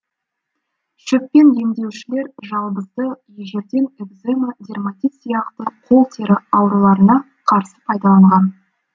шөппен емдеушілер жалбызды ежелден экзема дерматит сияқты қол тері ауруларына қарсы пайдаланған